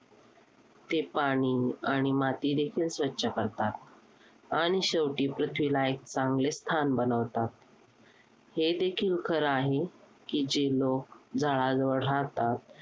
ते पाणी आणि मातीदेखील स्वच्छ करतात. आणि शेवटी पृथ्वीला एक चांगले स्थान बनवतात. हेदेखील खरे आहे, की जे लोकं झाडांजवळ राहातात.